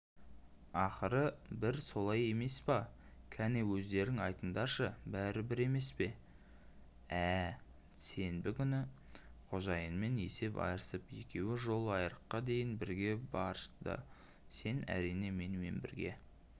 ақыры бір солай емес пе кәне өздерің айтыңдаршы бәрі бір емес пе ә сенбі күні қожайынмен есеп айырысып екеуі жол айырыққа дейін бірге бардысен әрине менімен бірге